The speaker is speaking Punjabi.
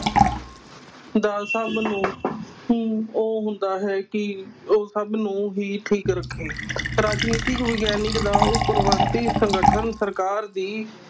ਦਾ ਸਭ ਨੂੰ ਨੂੰ ਉਹ ਹੁੰਦਾ ਹੈ ਕਿ ਉਹ ਸਭ ਨੂੰ ਹੀ ਠੀਕ ਰੱਖੇ ਰਾਜਨੀਤਿਕ ਵਿਗਿਆਨਕ ਦਾ ਉਹ ਪਰਿਵਰਤੀ ਸੰਗਠਨ ਸਰਕਾਰ ਦੀ